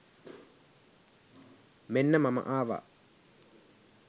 මෙන්න මම ආවා